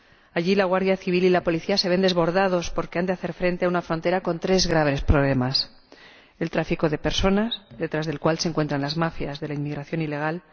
Allí la Guardia Civil y la Policía se ven desbordados, porque han de hacer frente a una frontera con tres graves problemas el tráfico de personas, detrás del cual se encuentran las mafias de la inmigración ilegal